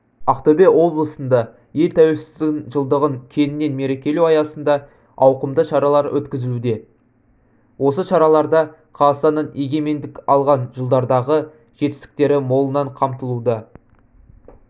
ақтөбе облысында ел тәуелсіздігінің жылдығын кеңінен мерекелеу аясында ауқымды шаралар өткізілуде осы шараларда қазақстанның егемендік алған жылдардағы жетістіктері молынан қамтылуда